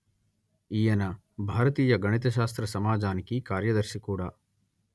ఈయన భారతీయ గణిత శాస్త్ర సమాజానికి కార్యదర్శి కూడా